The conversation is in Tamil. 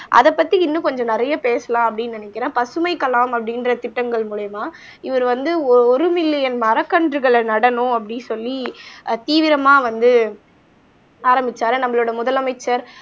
அதைப் பத்தி இன்னும் கொஞ்சம் நிறைய பேசலாம் அப்படின்னு நினைக்கிறேன். பசுமைக் கலாம், அப்படின்ற திட்டங்கள் மூலியமா இவர் வந்து ஓ ஒரு மில்லியன் மரக்கன்றுகளை நடணும் அப்படின்னு சொல்லி ஆஹ் தீவிரமா வந்து ஆரம்பிச்சாரு நம்மளோட முதலமைச்சர்